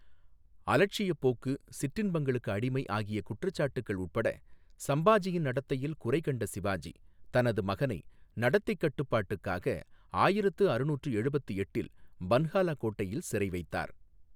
அலட்சியப் போக்கு, சிற்றின்பங்களுக்கு அடிமை ஆகிய குற்றச்சாட்டுக்கள் உட்பட சம்பாஜியின் நடத்தையில் குறைகண்ட சிவாஜி, தனது மகனை நடத்தைக் கட்டுப்பாட்டுக்காக ஆயிரத்து அறுநூற்று எழுபத்து எட்டில் பன்ஹாலா கோட்டையில் சிறைவைத்தார்.